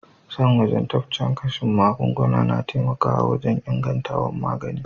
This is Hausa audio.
San wajabtacen kashin magunguna na taimaka wajen ingantawan magani.